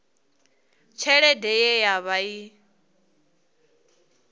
tshelede ye ya vha i